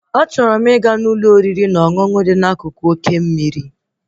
Achọrọ m ịga Ụlọ oriri na ọṅụṅụ dị n'akụkụ oké mmiri